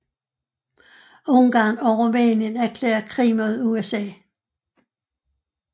Ungarn og Rumænien erklærer krig mod USA